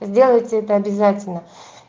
сделайте это обязательно